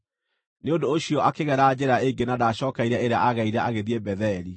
Nĩ ũndũ ũcio akĩgera njĩra ĩngĩ na ndaacookeire ĩrĩa aagereire agĩthiĩ Betheli.